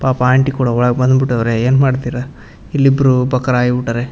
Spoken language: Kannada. ಪಾಪ ಆಂಟಿ ಕೂಡ ಒಳಗೆ ಬಂದ್ ಬಿಟ್ಟವ್ರೇ ಏನ್ ಮಾಡ್ತೀರಾ ಇಲ್ಲಿ ಇಬ್ರು ಬಕ್ರ ಆಯಿ ಬಿಟ್ಟ್ ಅವ್ರೇ.